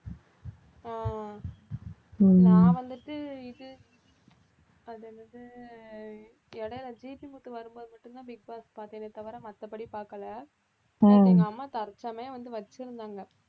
உம் நான் வந்துட்டு இது அது என்னது இடையில ஜிபி முத்து வரும்போது மட்டும்தான் பிக் பாஸ் பார்த்தேனே தவிர மத்தபடி பார்க்கல, எங்க அம்மா தற்சமயம் வந்து வச்சிருந்தாங்க